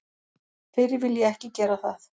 Fyrr vil ég ekki gera það.